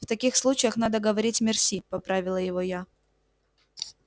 в таких случаях надо говорить мерси поправила его я